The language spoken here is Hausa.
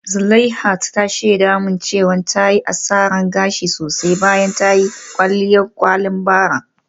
Zuleihat ta shaida min cewa ta yi asarar gashi sosai bayan ta yi kwalliyar kwalin bara.